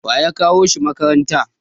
waye ya kawo shi makaranta?